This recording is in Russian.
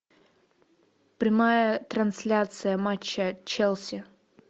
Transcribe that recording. прямая трансляция матча челси